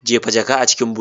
Jefa jaka a cikin but!